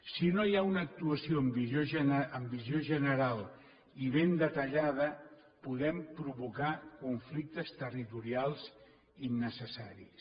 si no hi ha una actuació amb visió general i ben detallada podem provocar conflictes territorials innecessaris